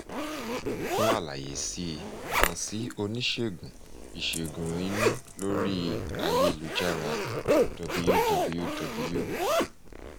fún àlàyé síi kàn sí oníṣègùn ìṣègùn inú lórí ayélujára https://www